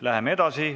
Läheme edasi.